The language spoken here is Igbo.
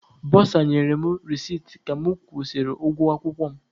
Bọsa nyere m resiti ka mụ kwụsịrị ụgwọ akwụkwọ m.